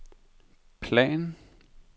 plan